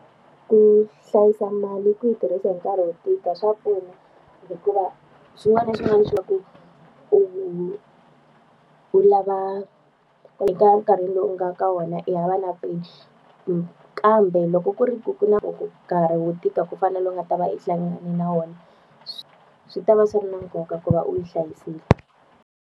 Ku hlayisa mali ku yi tirhisa hi nkarhi wo tika swa pfuna hikuva swin'wana na swin'wana swa ku u u lava ku eka nkarhi lowu nga ka wona i hava na peni. Kambe loko ku ri ku ku na nkarhi wo tika ku fana na lowu i nga ta va i hlangane na wona, swi ta va swi na nkoka ku va u yi hlayisile.